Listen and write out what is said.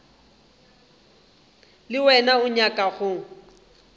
le wena o nyaka go